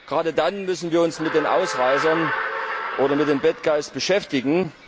gerade dann müssen wir uns mit den Ausreißern oder mit den bad guys beschäftigen.